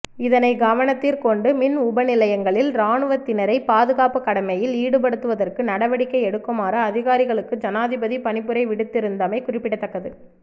இதனைக் கவனத்திற்கொண்டு மின் உபநிலையங்களில் இராணுவத்தினரை பாதுகாப்பு கடமையில் ஈடுபடுத்துவதற்கு நடவடிக்கை எடுக்குமாறு அதிகாரிகளுக்கு ஜனாதிபதி பணிப்புரை விடுத்திருந்தமை குறிப்பிடத்தக்கது